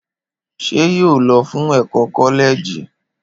Ṣé yóò lọ fún ẹkọ kọlẹẹjì?